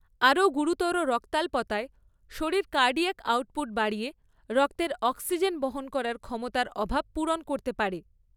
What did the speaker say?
আরও গুরুতর রক্তাল্পতায়, শরীর কার্ডিয়াক আউটপুট বাড়িয়ে রক্তের অক্সিজেন বহন করার ক্ষমতার অভাব পূরণ করতে পারে।